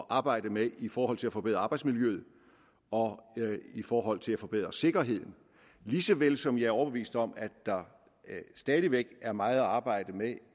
arbejde med i forhold til at forbedre arbejdsmiljøet og i forhold til at forbedre sikkerheden lige så vel som jeg er overbevist om at der stadig væk er meget at arbejde med